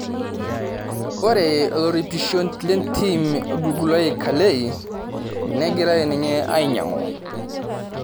Ore oloripishio lentim orgulului kalei, negirai ninye ainyang'u